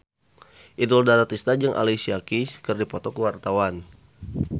Inul Daratista jeung Alicia Keys keur dipoto ku wartawan